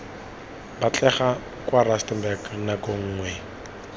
batlega kwa rustenburg nako nngwe